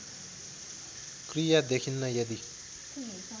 क्रिया देखिन्न यदि